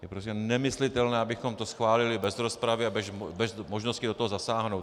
Je prostě nemyslitelné, abychom to schválili bez rozpravy a bez možnosti do toho zasáhnout.